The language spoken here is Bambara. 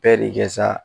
Bɛɛ de kɛ sa